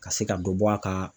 Ka se ka dɔ bɔ a ka